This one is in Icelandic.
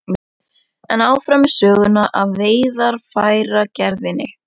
En áfram með söguna af veiðarfæragerðinni.